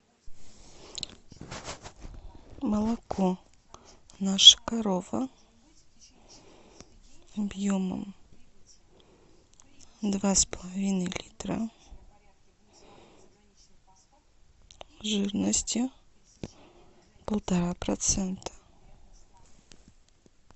молоко наша корова объемом два с половиной литра жирностью полтора процента